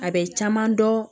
A bɛ caman dɔn